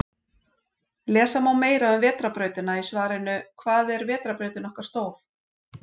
Lesa má meira um Vetrarbrautina í svarinu Hvað er vetrarbrautin okkar stór?